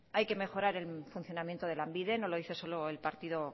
hay que mejorar el funcionamiento de lanbide no lo dice solo el partido